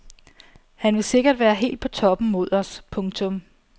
Han vil sikkert være helt på toppen mod os. punktum